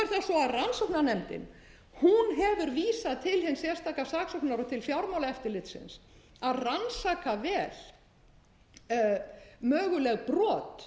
svo að rannsóknarnefndin hefur vísað til hins sérstaka saksóknara og til fjármálaeftirlitsins að rannsaka vel möguleg brot